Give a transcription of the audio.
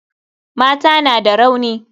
Mata na da rauni.